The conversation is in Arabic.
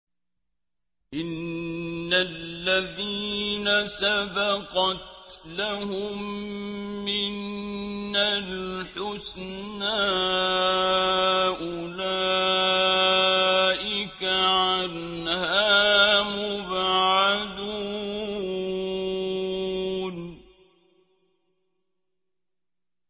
إِنَّ الَّذِينَ سَبَقَتْ لَهُم مِّنَّا الْحُسْنَىٰ أُولَٰئِكَ عَنْهَا مُبْعَدُونَ